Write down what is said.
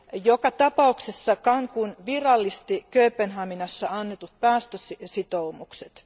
Joka tapauksessa Cancún virallisti Kööpenhaminassa annetut päästösitoumukset.